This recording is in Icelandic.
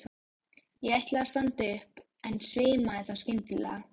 Ég ætlaði að standa upp en svimaði þá skyndilega.